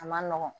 A ma nɔgɔn